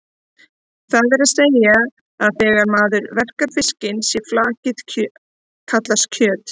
Það er að segja að þegar maður verkar fiskinn sé flakið kallað kjöt.